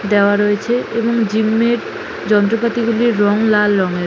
দেওয়া রয়েছে। এবং জিম - এর যন্ত্রপাতি গুলির রং লাল রং এর।